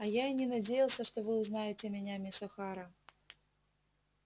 а я и не надеялся что вы узнаете меня мисс охара